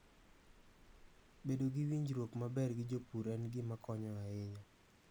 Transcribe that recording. Bedo gi winjruok maber gi jopur en gima konyo ahinya.